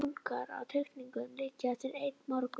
Bunkar af teikningum liggja eftir einn morgun.